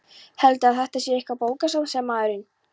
Heldurðu að þetta sé eitthvert bókasafn? sagði maðurinn.